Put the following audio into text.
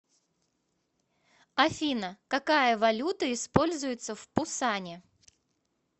афина какая валюта используется в пусане